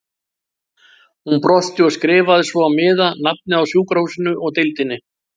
Hún brosti og skrifaði svo á miða nafnið á sjúkrahúsinu og deildinni.